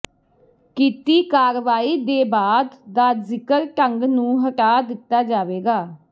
ਕੀਤੀ ਕਾਰਵਾਈ ਦੇ ਬਾਅਦ ਦਾ ਜ਼ਿਕਰ ਢੰਗ ਨੂੰ ਹਟਾ ਦਿੱਤਾ ਜਾਵੇਗਾ